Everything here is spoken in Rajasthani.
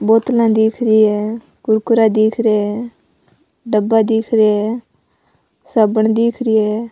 बोतला दिख रही है कुरकुरा दिख रिया है डब्बा दिख रिया है साबुन दिख री है।